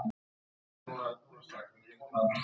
Sekúndubroti síðar fékk hann harðan skell á öxlina.